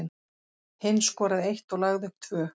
Hinn skoraði eitt og lagði upp tvö.